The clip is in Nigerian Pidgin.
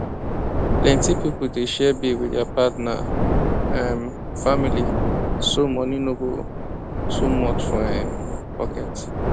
plenty pipo dey share bill with their partner um family so money no go too much for um pocket